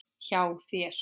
Hjá þér?